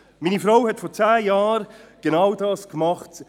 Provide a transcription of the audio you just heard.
Meine Frau hat vor zehn Jahren genau dies getan: